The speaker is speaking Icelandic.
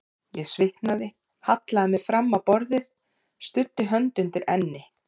Ég svitnaði, hallaði mér fram á borðið, studdi hönd undir enni.